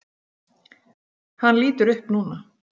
Hann lítur upp núna.